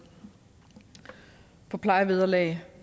plejevederlag